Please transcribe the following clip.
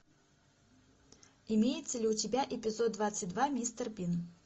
имеется ли у тебя эпизод двадцать два мистер бин